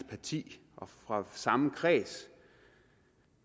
parti og fra samme kreds